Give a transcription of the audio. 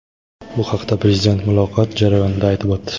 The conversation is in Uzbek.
Bu haqda Prezident muloqot jarayonida aytib o‘tdi.